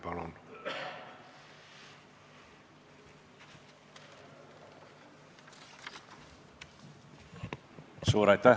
Palun!